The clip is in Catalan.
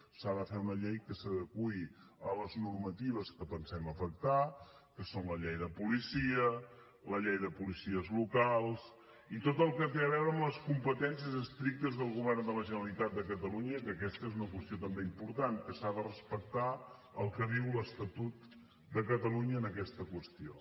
s’ha de fer una llei que s’adeqüi a les normatives que pensem afectar que són la llei de policia la llei de policies locals i tot el que té a veure amb les competències estrictes del govern de la generalitat de catalunya que aquesta és una qüestió també important que s’ha de respectar el que diu l’estatut de catalunya en aquesta qüestió